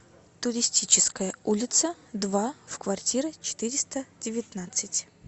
туристическая улица два в квартира четыреста девятнадцать